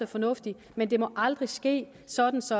fornuftig men det må aldrig ske sådan så